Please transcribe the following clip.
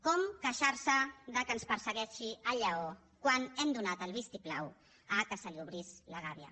com queixar se que ens persegueixi el lleó quan hem donat el vistiplau que se li obrís la gàbia